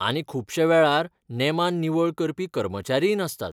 आनी खुबश्या वेळार नेमान निवळ करपी कर्मचारीय नासतात.